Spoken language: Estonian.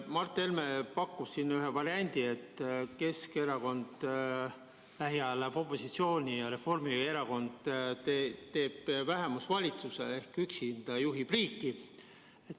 Mart Helme pakkus siin ühe variandi, et Keskerakond lähiajal läheb opositsiooni ja Reformierakond teeb vähemusvalitsuse ehk üksinda juhib riiki.